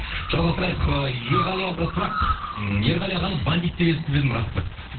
жалғастырайық ыыы ерғали ағаға сұрақ ыыы ерғали ағаны бандит деп естіп едім рас па